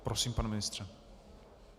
Prosím, pane ministře.